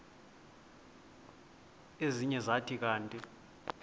ezinye zathi kanti